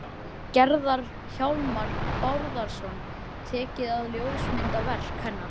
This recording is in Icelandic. Gerðar, Hjálmar Bárðarson, tekið að ljósmynda verk hennar.